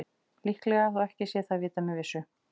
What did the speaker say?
Líklega, þó ekki sé það vitað með vissu.